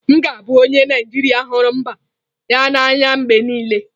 M ga-abụ onye Naijiria hụrụ mba ya n'anya mgbe niile.